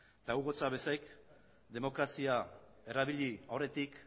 eta hugo chávezek demokrazia erabili aurretik